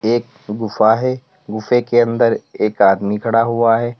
एक गुफा है गुफे के अंदर एक आदमी खड़ा हुआ है।